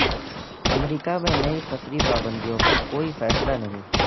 امریکہ میں نئی سفری پابندیوں پر کوئی فیصلہ نہیں